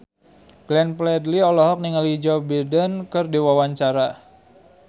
Glenn Fredly olohok ningali Joe Biden keur diwawancara